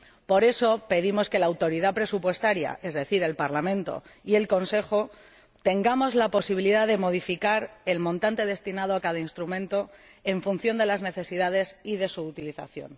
Por eso, pedimos que la Autoridad Presupuestaria, es decir, el Parlamento y el Consejo, tenga la posibilidad de modificar el montante destinado a cada instrumento en función de las necesidades y de su utilización.